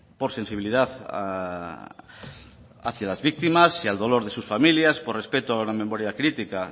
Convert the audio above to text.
por sensibilidad hacia las víctimas y al dolor de sus familias por respeto a la memoria crítica